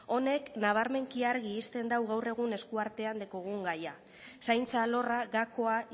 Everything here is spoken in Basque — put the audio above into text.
honek nabarmenki argi uzten dau gaur egun eskuartean daukaugn gaia zaintza alorra gakoa